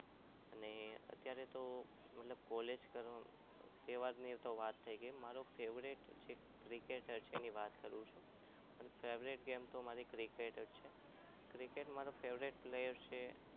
અત્યારે તો મતલબ college મતલબ તહેવારની તો વાત થઈ ગઈ મારો favourite cricketer છે મારી favourite game cricket છે cricket માં મારો favourite player છે એમ એસ ધોની તહેવારની વાત તો થઈ ગઈ